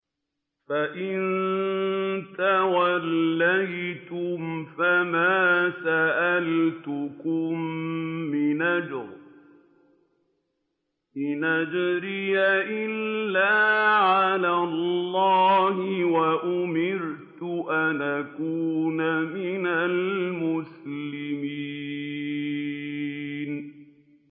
فَإِن تَوَلَّيْتُمْ فَمَا سَأَلْتُكُم مِّنْ أَجْرٍ ۖ إِنْ أَجْرِيَ إِلَّا عَلَى اللَّهِ ۖ وَأُمِرْتُ أَنْ أَكُونَ مِنَ الْمُسْلِمِينَ